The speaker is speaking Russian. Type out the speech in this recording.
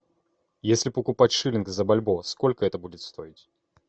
если покупать шиллинг за бальбоа сколько это будет стоить